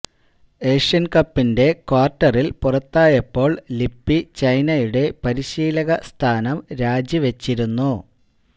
Asian കപ്പിന്റെ ക്വാര്ട്ടറില് പുറത്തായപ്പോള് ലിപ്പി ചൈനയുടെ പരിശീലക സ്ഥാനം രാജിവച്ചിരുന്നു